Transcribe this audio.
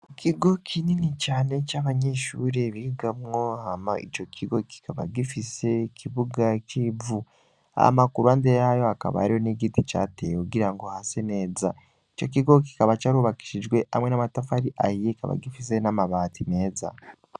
Ikigo kinini cane c'abanyishuri bigamwo hama ico kigo kikaba gifise kibuga k'ivu amakuru ande yayo akaba ariho n'igiti cateye kugira ngo hase neza ico kigo kikaba coarubakishijwe hamwe n'amataf ari ayiyekaba gifise n'amabati meza.